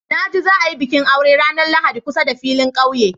Na ji za a yi bikin aure ranar Lahadi kusa da filin ƙauye.